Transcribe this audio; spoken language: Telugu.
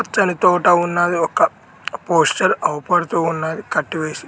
పచ్చని తోట ఉన్నది ఒక పోస్టర్ అవుపడుతున్నది కట్టు వేసి.